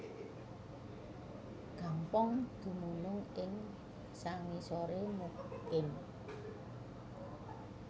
Gampong dumunung ing sangisoré Mukim